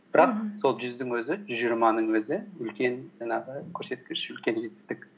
бірақ сол жүздің өзі жүз жиырманың өзі үлкен жаңағы көрсеткіш үлкен жетістік